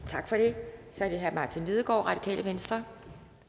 tak for det så er det herre martin lidegaard radikale venstre